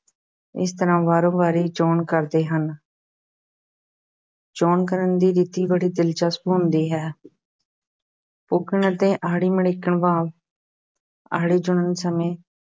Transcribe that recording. ਇਸ ਤਰ੍ਹਾਂ ਵਾਰੋ-ਵਾਰੀ ਚੋਣ ਕਰਦੇ ਹਨ ਚੋਣ ਕਰਨ ਦੀ ਰੀਤੀ ਬੜੀ ਦਿਲਚਸਪ ਹੁੰਦੀ ਹੈ ਪੁੱਗਣ ਅਤੇ ਆੜੀ ਮੜਿੱਕਣ ਭਾਵ ਆੜੀ ਚੁਣਨ ਸਮੇਂ